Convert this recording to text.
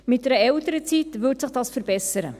Mit einer Elternzeit würde sich dies verbessern.